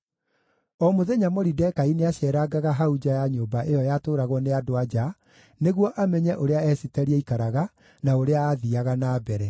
O mũthenya Moridekai nĩaceerangaga hau nja ya nyũmba ĩyo yatũũragwo nĩ andũ-a-nja, nĩguo amenye ũrĩa Esiteri aikaraga, na ũrĩa aathiiaga na mbere.